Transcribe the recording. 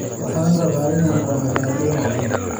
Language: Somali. Waxaan rabaa inaan cuno baradho macaan.